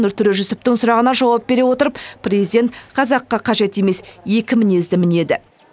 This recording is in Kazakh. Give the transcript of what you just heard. нұртөре жүсіптің сұрағына жауап бере отырып президент қазаққа қажет емес екі мінезді мінеді